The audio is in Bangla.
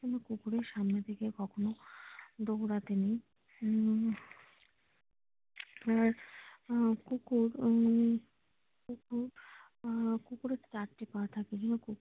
কোনো কুকুরের সামনে থেকে কখনো দৌড়াতে নেয় উম কুকুর আহ কুকুরের চারটি পা থাকে।